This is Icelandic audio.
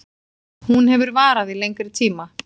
Hún hefur varað í lengri tíma